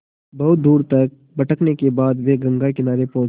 बहुत दूर तक भटकने के बाद वे गंगा किनारे पहुँचे